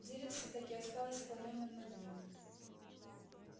деревце так и осталось склонённым над ним